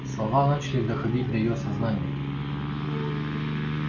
слова начали доходить до её сознания